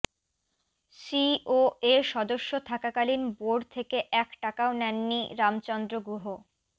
COA সদস্য থাকাকালীন board থেকে এক টাকাও নেননি রামচন্দ্র গুহ